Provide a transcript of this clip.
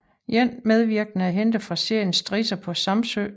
En medvirkende er hentet fra serien Strisser på Samsø